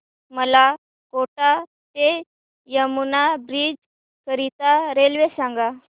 मला कोटा ते यमुना ब्रिज करीता रेल्वे सांगा